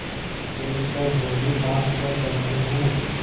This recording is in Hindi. देख कर बोलीआप क्या कहते हैं